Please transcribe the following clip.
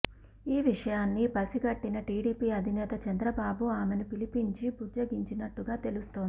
ఈ విషయాన్ని పసిగట్టిన టీడీపీ అధినేత చంద్రబాబు ఆమెను పిలిపించి బుజ్జగించినట్టుగా తెలుస్తోంది